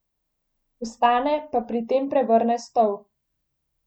Vstane pa pri tem prevrne stol.